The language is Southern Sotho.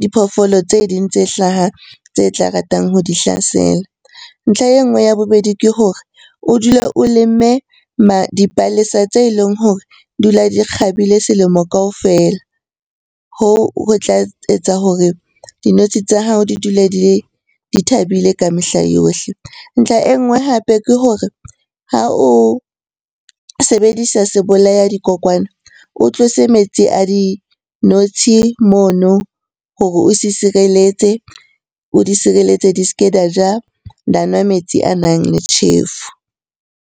diphoofolo tse ding tse hlaha tse tla ratang ho di hlasela. Ntlha e nngwe ya bobedi ke hore o dule o lemme dipalesa tse leng hore di dula di kgabile selemo kaofela. Hoo ho tla etsa hore dinotshi tsa hao di dule di le, di thabile ka mehla yohle. Ntlha e nngwe hape ke hore ha o sebedisa sebolaya di dikokwana o tlose metsi a dinotshi mono hore o se sireletse, o di sireletse di s'ke di a ja, di a nwa metsi anang le tjhefu.